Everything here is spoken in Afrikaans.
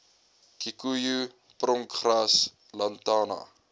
kikoejoe pronkgras lantana